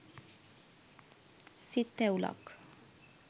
සිත් තැවුලක්